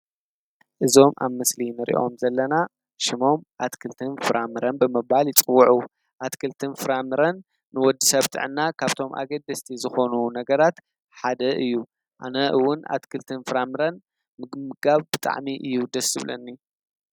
እዞም ኣብ ምስሊ እንሪኦም ዘለና ሽሞም ኣትክልትን ፍራምረን ብምባል ይፅውዑ። ኣትክልትን ፍራምረን ንወዲሰብ ጥዕና ካብቶም ኣገደስቲ ዝኾኑ ነገራት ሓደ እዩ። ኣነ እውን ኣትክልትን ፍራምረን ምምጋብ ብጣዕሚእዩ ድስ ዝብለኒ።